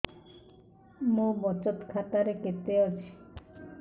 ମୋ ବଚତ ଖାତା ରେ କେତେ ଅଛି